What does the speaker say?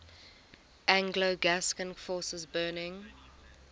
anglo gascon forces burning